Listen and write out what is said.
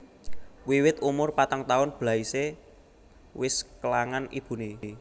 Wiwit umur patang taun Blaise wis kélangan ibuné